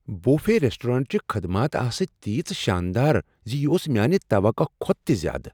Buffet ریسٹورینٹچہِ خدمات آسہٕ تیژٕ شاندار زِ یہِ اوس میٛانہِ توقع کھۄتہٕ زیادٕ۔